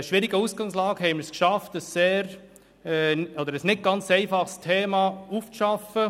Bei einer schwierigen Ausgangslage haben wir es geschafft, ein nicht ganz einfaches Thema aufzuarbeiten.